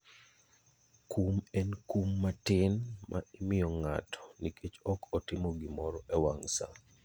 Kum en kum matin ma imiyo ng'ato nikech ok otimo gimoro e wang' sa.